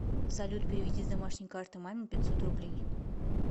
салют переведи с домашней карты маме пятьсот рублей